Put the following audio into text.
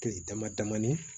Kile dama damani